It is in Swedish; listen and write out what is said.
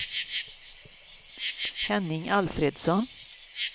Henning Alfredsson